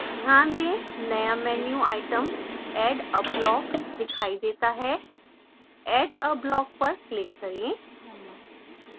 ध्यान दें नया menu items add a block दिखाई देता है add a block पर click करें